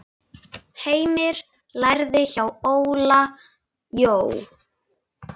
Heimir lærði hjá Óla Jó.